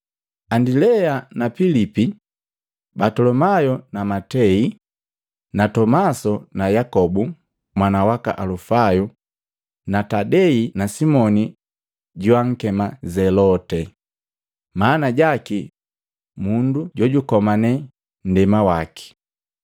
Andilea na Pilipi na Batolomayu na Matei na Tomasi na Yakobu mwana waka Alufayo na Tadei na Simoni joankema Zelote maana jaki mundu jojukomane nndema waki,